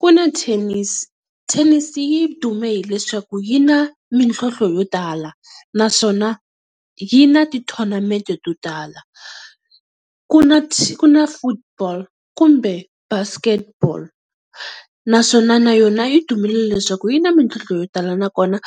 Ku na Tennis, Tennis yi dume hileswaku yi na mintlhontlho yo tala naswona yi na ti-tournament to tala. Ku ku na Football kumbe Basketball naswona na yona yi dumile leswaku yi na mintlhontlho yo tala, nakona